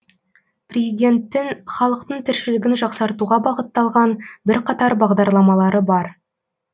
президенттің халықтың тіршілігін жақсартуға бағытталған бірқатар бағдарламалары бар